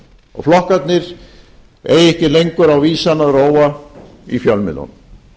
og flokkarnir eiga ekki lengur á vísan að róa í fjölmiðlunum